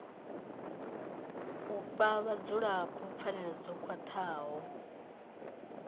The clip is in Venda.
fhe vhadzulapo pfanelo dzo khwathaho